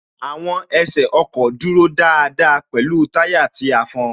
Àwọn ẹsẹ ọkọ̀ dúró dáadáa pẹ̀lú táyà tí a fọn